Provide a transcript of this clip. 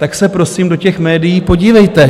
Tak se prosím do těch médií podívejte.